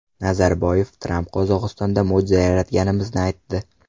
Nazarboyev: Tramp Qozog‘istonda mo‘jiza yaratganimizni aytdi.